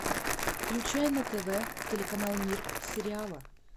включай на тв телеканал мир сериала